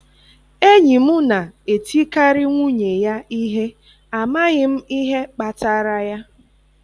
Enyi m na-etikarị nwunye ya ihe, amaghị m ihe kpatara ya.